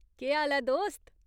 केह् हाल ऐ, दोस्त ?